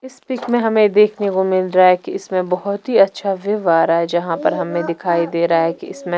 इस पिक में हमें देखने को मिल रहा है कि इसमें बहुत ही अच्छा व्यू आ रहा है जहां पर हमें दिखाई दे रहा है कि इसमें--